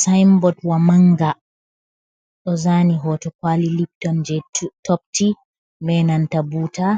Sainbot wa manga, ɗo zaani hoto kwaali libton jei topti, be nanta buuta